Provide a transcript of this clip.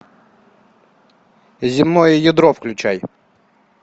земное ядро включай